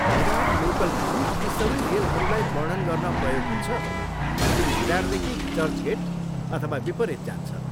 Virar local नाम ती सबै रेलहरूलाई वर्णन गर्न प्रयोग हुन्छ जुन भिरारदेखि चर्चगेट अथवा विपरीत जान्छ।